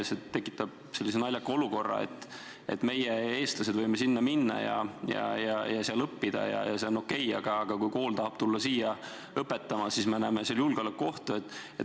See tekitab sellise naljaka olukorra, et meie, eestlased, võime sinna minna ja seal õppida ja see on okei, aga kui kool tahab tulla siia õpetama, siis näeme selles julgeolekuohtu.